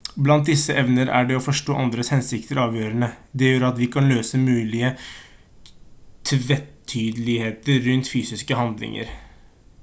blant disse evnene er det å forstå andres hensikter avgjørende det gjør at vi kan løse mulige tvetydigheter rundt fysiske handlinger